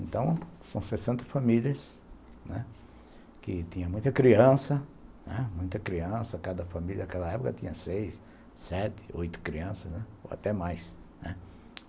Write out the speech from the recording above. Então, são sessenta famílias, né, que tinha muita criança, muita criança, cada família naquela época tinha seis, sete, oito crianças, ou até mais.